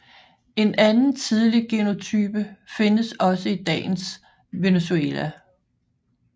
En anden tidlig genotype findes også i dagens Venezuela